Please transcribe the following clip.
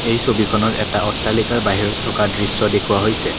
এই ছবিখনত এটা অট্টালিকাৰ বাহিৰত থকা দৃশ্য দেখুওৱা হৈছে।